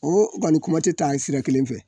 O okɔni kuma tɛ taa sira kelen fɛ.